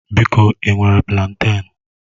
Biko ị nwere planten?